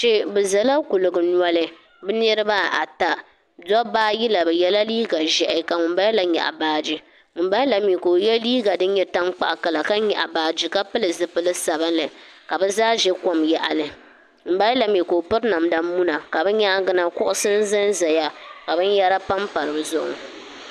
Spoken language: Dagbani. kpe bɛ zala kuligi noli bɛ niriba ata dabba ayi la bɛ yela liiga ʒɛhi ka ŋunbala la nyɛɣi baaji ŋunbala mi ka o ye liiga din nye tankpaɣu kala ka nyaɣi baaji ka pili zupil'sabinli ka bɛ zaa za kom yaɣili ŋunbalami ka o piri namda muna ka bɛ nyaaŋa na kuɣisi n-zanzaya ka binyara panpa di zuɣu